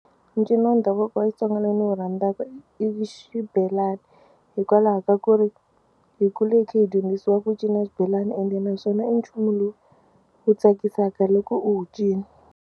Ncino wa ndhavuko wa Xitsonga lowu ndzi wu rhandzaka i xibelani hikwalaho ka ku ri hi kule hi kha hi dyondzisiwa ku cina xibelana ende naswona i nchumu lowu wu tsakisaka loko u wu cina.